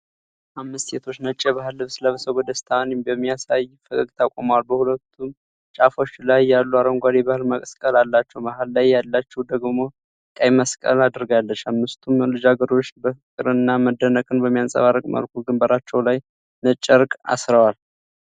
አምስት ሴቶች ነጭ የባህል ልብስ ለብሰው ደስታን በሚያሳይ ፈገግታ ቆመዋል። በሁለቱም ጫፍ ያሉት አረንጓዴ የባህል መቀነት አላቸው፤ መሃል ላይ ያለችው ደግሞ ቀይ መቀነት አድርጋለች። አምስቱም ልጃገረዶች ፍቅርንና መደነቅን በሚያንጸባርቅ መልኩ ግንባራቸው ላይ ነጭ ጨርቅ አስረዋል።